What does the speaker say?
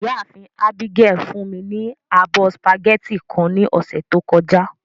Iyaafin Abigail fun mi ni abọ spaghetti kan ni ọsẹ to kọja.